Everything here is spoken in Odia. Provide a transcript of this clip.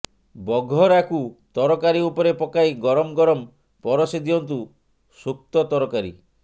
ବଘରାକୁ ତରକାରୀ ଉପରେ ପକାଇ ଗରମ ଗରମ ପରସିଦିଅନ୍ତୁ ସୁକ୍ତ ତରକାରୀ